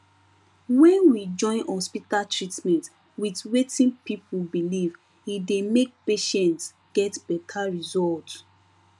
when we join hospital treatment with wetin people believe e dey make patients get better result